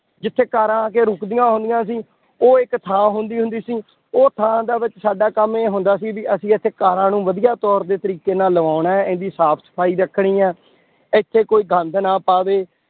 ਜਿੱਥੇ ਕਾਰਾਂ ਆ ਕੇ ਰੁਕਦੀਆਂ ਹੁੰਦੀਆਂ ਸੀ, ਉਹ ਇੱਕ ਥਾਂ ਹੁੰਦੀ ਹੁੰਦੀ ਸੀ, ਉਹ ਥਾਂ ਦੇ ਵਿੱਚ ਸਾਡਾ ਕੰਮ ਇਹ ਹੁੰਦਾ ਸੀ ਵੀ ਅਸੀਂ ਇੱਥੇ ਕਾਰਾਂ ਨੂੰ ਵਧੀਆ ਤੌਰ ਦੇ ਤਰੀਕੇ ਨਾਲ ਲਵਾਉਣਾ ਹੈ, ਇਹਦੀ ਸਾਫ਼ ਸਫ਼ਾਈ ਰੱਖਣੀ ਹੈ ਇੱਥੇ ਕੋਈ ਗੰਦ ਨਾ ਪਾਵੇ